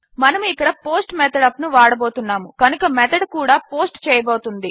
మనము ఇక్కడ post method యూపీ ను వాడబోతున్నాము కనుక మెథడ్ కూడా పోస్ట్ చేయబోతున్నది